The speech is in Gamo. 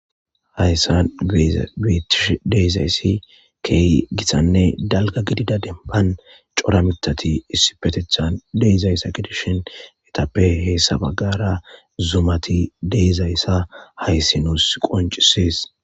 hayssan tish deezayssi key gitthanne dalga gidida denban cora mitati issi petethan deezayssa gedishin etappe heessabagara zumati deezayssa hayssi nuus qoncisees